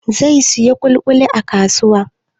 Zai siyo ƙuli-ƙulin a kasuwa?